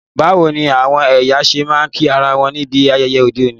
Báwoni àwon èyàn se ma n kí ara won níbi ayẹyẹ ọ́de òní?